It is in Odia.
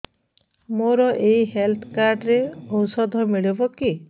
ମୋର ଏଇ ହେଲ୍ଥ କାର୍ଡ ରେ ଔଷଧ ମିଳିବ କି